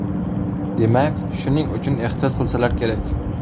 Demak, shuning uchun ehtiyot qilsalar kerak!